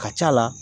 Ka c'a la